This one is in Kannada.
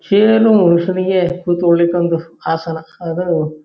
ಚೇರು ಮನುಷ್ಯನಿಗೆ ಕುತ್ಕೊಳಲಿಕ್ಕೆ ಒಂದು ಆಸನ ಅದು --